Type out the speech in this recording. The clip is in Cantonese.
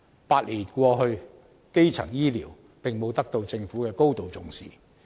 八年過去，基層醫療並沒有得到政府高度重視。